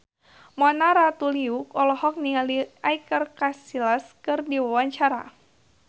Mona Ratuliu olohok ningali Iker Casillas keur diwawancara